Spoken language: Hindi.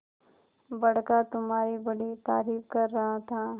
बड़का तुम्हारी बड़ी तारीफ कर रहा था